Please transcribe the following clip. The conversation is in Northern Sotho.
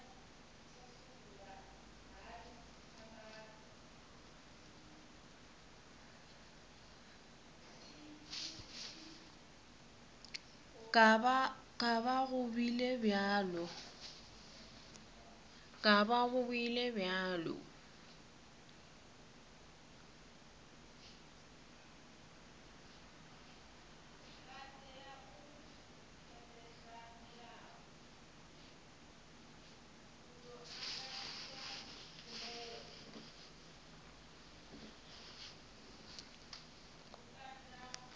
ka ba go bile bjalo